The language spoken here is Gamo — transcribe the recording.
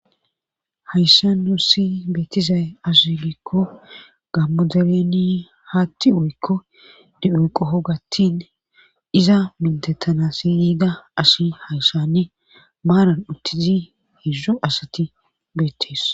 hayssa nusi beetizay asu giikko gammo dareeni haatti wuykko di7u qo hogattin iza mintettanasi yiida asi hayssani maaran uttizi hizz8 asati beettees